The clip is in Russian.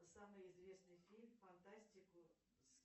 самый известный фильм фантастику с